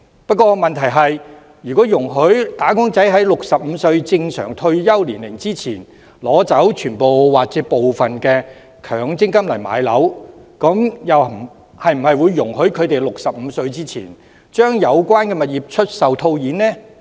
不過問題是，如果容許"打工仔"在65歲正常退休年齡前，取走全部或部分強積金置業，那麼是否也容許他們在65歲前，將有關物業出售套現？